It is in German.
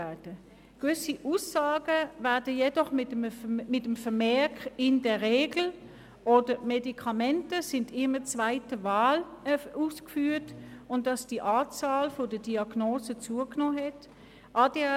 Gewisse Aussagen werden jedoch mit Zusätzen wie «in der Regel» oder «Somit ist eine medikamentöse Behandlung immer zweite Wahl.» versehen, und es wird gesagt, dass die Anzahl Diagnosen zugenommen habe.